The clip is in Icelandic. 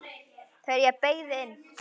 Þegar ég beygði inn